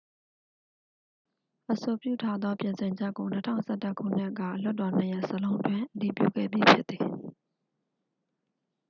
အဆိုပြုထားသော ပြင်ဆင်ချက်ကို 2011 ခုနှစ်က လွှတ်တော်နှစ်ရပ်စလုံးတွင် အတည်ပြုခဲ့ပြီးဖြစ်သည်